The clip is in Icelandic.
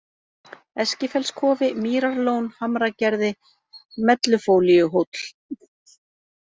Eskifellskofi, Mýrarlón, Hamragerði, Mellufólíuhóll